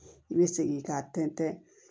I bɛ segin k'a tɛntɛn